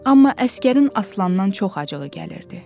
Amma Əsgərin Aslandan çox acığı gəlirdi.